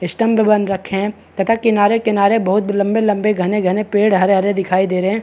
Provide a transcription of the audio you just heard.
स्टूमड बन रखे है तथा किनारे किनारे बहुत लम्बे - लम्बे पेड़ घने - घने हरे -हरे दिखाई दे रहे है।